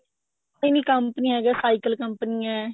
ਇਹ ਵੀ ਕਪੰਨੀਆਂ ਹੈਗੀਆਂ ਸਾਇਕਲ ਕੰਪਨੀਆਂ